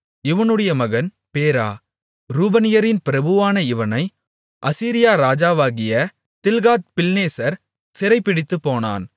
இவனுடைய மகன் பேரா ரூபனியரின் பிரபுவான இவனை அசீரியா ராஜாவாகிய தில்காத்பில்நேசர் சிறைபிடித்துப்போனான்